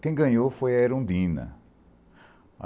Quem ganhou foi a Erundina.